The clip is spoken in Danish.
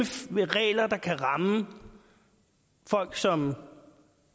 med regler der kan ramme folk som